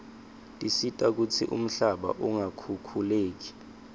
tisita kutsi umhlaba ungakhukhuleki